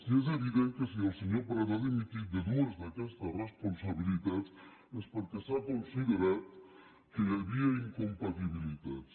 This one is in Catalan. i és evident que si el senyor prat ha dimitit de dues d’aquestes responsabilitats és perquè s’ha considerat que hi havia incompatibilitats